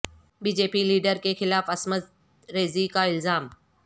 be J P leader کے خلاف عصمت ریزی کا الزام